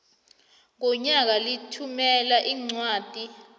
ngonyaka lithumela iincwadi